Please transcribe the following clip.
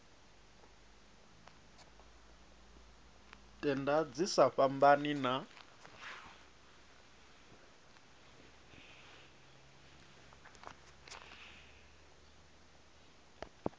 tenda dzi sa fhambani na